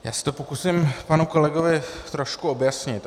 Já se to pokusím panu kolegovi trošku objasnit.